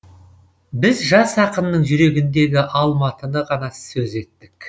біз жас ақынның жүрегіндегі алматыны ғана сөз еттік